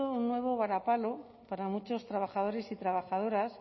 un nuevo varapalo para muchos trabajadores y trabajadoras